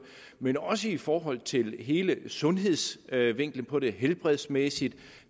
men også i forhold til hele sundhedsvinklen på det helbredsmæssigt